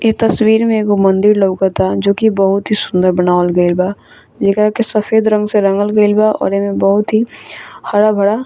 ए तस्वीर में एगो मन्दिर लौकता जो की बहुत ही सुन्दर बनावल गईल बा जेकरा के सफेद रंग से रंगल गईल बा और एमें बहुत ही हरा-भरा --